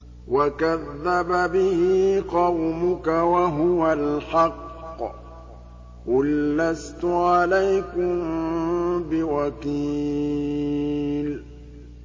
وَكَذَّبَ بِهِ قَوْمُكَ وَهُوَ الْحَقُّ ۚ قُل لَّسْتُ عَلَيْكُم بِوَكِيلٍ